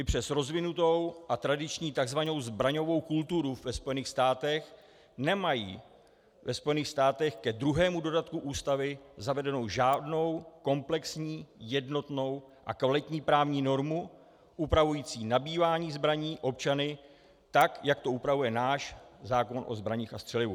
I přes rozvinutou a tradiční tzv. zbraňovou kulturu ve Spojených státech nemají ve Spojených státech k druhému dodatku ústavy zavedenou žádnou komplexní jednotnou a kvalitní právní normu upravující nabývání zbraní občany, tak jak to upravuje náš zákon o zbraních a střelivu.